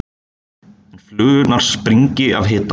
en flugurnar springi af hita.